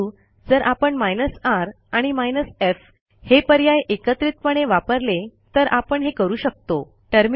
परंतु जर आपण r आणि f हे पर्याय एकत्रितपणे वापरले तर आपण हे करू शकतो